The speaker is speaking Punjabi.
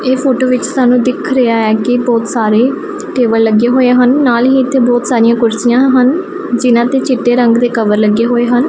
ਇਹ ਫੋਟੋ ਵਿੱਚ ਸਾਨੂੰ ਦਿੱਖ ਰਿਹਾ ਹੈ ਕਿ ਬਹੁਤ ਸਾਰੇ ਟੇਬਲ ਲੱਗੇ ਹੋਏ ਹਨ ਨਾਲ ਹੀ ਇੱਥੇ ਬਹੁਤ ਸਾਰੀਆਂ ਕੁਰਸੀਆਂ ਹਨ ਜਿਹਨਾਂ ਤੇ ਚਿੱਟੇ ਰੰਗ ਦੇ ਕਵਰ ਲੱਗੇ ਹੋਏ ਹਨ।